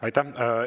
Aitäh!